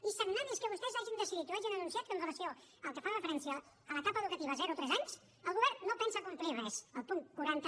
i sagnant és que vostès hagin decidit o hagin anunciat que amb relació al que fa referència a l’etapa educativa zero tres anys el govern no pensa complir res el punt quaranta